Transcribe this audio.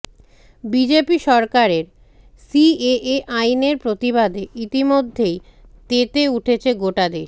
BJP সরকারের CAA আইনের প্রতিবাদে ইতিমধ্যেই তেতে উঠেছে গোটা দেশ